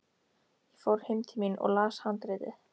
Ég fór heim til mín og las handritið.